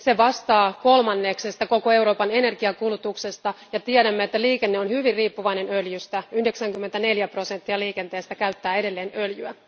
Se vastaa kolmanneksesta koko Euroopan energiankulutuksesta, ja tiedämme, että liikenne on hyvin riippuvainen öljystä 94 prosenttia liikenteestä käyttää edelleen öljyä.